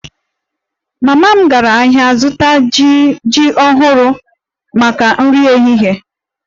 Mama m gara ahịa ịzụta jim ọhụrụ maka nri ehihie